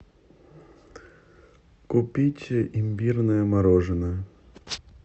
купить имбирное мороженое